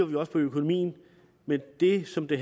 vi også på økonomien men det som det